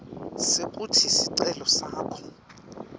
sekutsi sicelo sakho